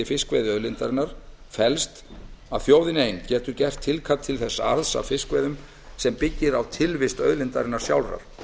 fiskveiðiauðlindarinnar felst að þjóðin ein getur gert tilkall til þess arðs af fiskveiðum sem byggir á tilvist auðlindarinnar sjálfrar